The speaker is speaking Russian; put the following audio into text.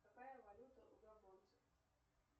какая валюта у габонцев